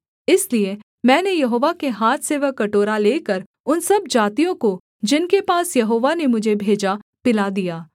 इसलिए मैंने यहोवा के हाथ से वह कटोरा लेकर उन सब जातियों को जिनके पास यहोवा ने मुझे भेजा पिला दिया